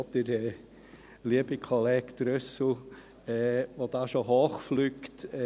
auch der liebe Kollege Trüssel, der da bereits hoch fliegt: